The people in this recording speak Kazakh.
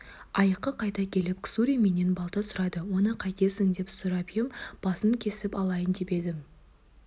айыққа қайта келіп ксури менен балта сұрады оны қайтесің деп сұрап ем басын кесіп алайын деп едім деді